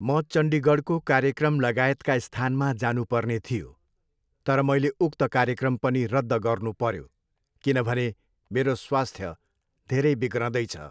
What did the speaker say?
म चन्डिगढको कार्यक्रम लगायतका स्थानमा जानुपर्ने थियो तर मैले उक्त कार्यक्रम पनि रद्द गर्नु पऱ्यो, किनभने मेरो स्वास्थ धेरै बिग्रँदै छ।